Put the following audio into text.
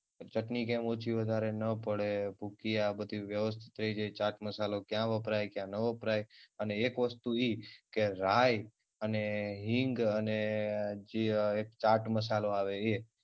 ચટણી કેમ ઓછી વધારે ન પડે ભૂકી આ બધી વયવસ્થિત આ ચાટ મસાલો ક્યાં વપરાય ક્યાં ના વપરાય અને એક વસ્તુ ઇ કે રાય અને હિંગ અને જે એક ચાટ મસાલો આવે ઇ.